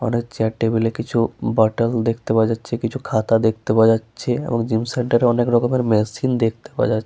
মনে হচ্ছে টেবিল এ কিছু বোতল দেখতে পাওয়া যাচ্ছে কিছু খাতা দেখতে পাওয়া যাচ্ছে এবং জিম সেন্টারে অনেক ধরণের মেশিন দেখতে পাওয়া যাচ্ছে ।